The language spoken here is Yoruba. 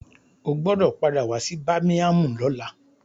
O gbọdọ̀ padà wá sí bámíámù lọ́la.